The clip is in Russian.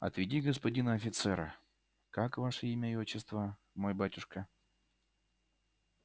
отведи господина офицера как ваше имя и отчество мой батюшка